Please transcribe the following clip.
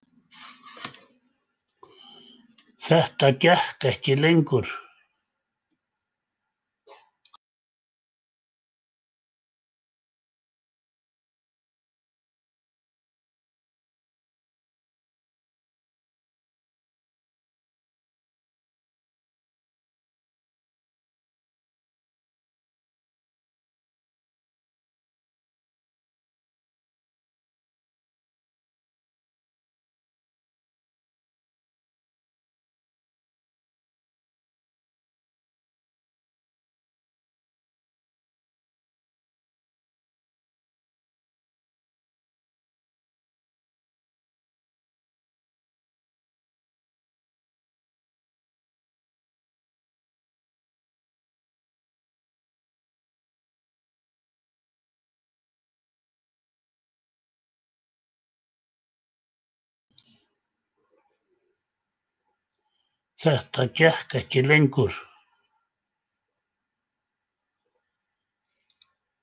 Þetta gekk ekki lengur.